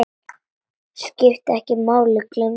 Skiptir ekki máli, gleymdu því.